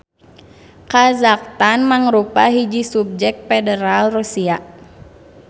Khazakhstan mangrupa hiji Subjek Federal Rusia.